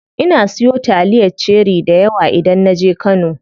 Ina siyo taliyar cherie dayawa idan naje kano.